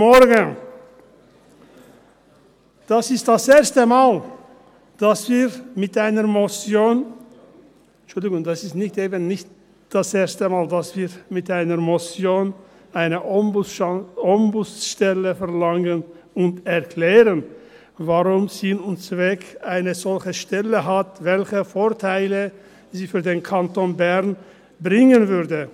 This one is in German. Dies ist das erste Mal, dass wir mit einer Motion … Entschuldigen Sie, dies ist eben das erste Mal, dass wir mit einer Motion eine Ombudsstelle verlangen und erklären, welchen Sinn und Zweck eine solche Stelle hat und welche Vorteile sie für den Kanton Bern bringen würde.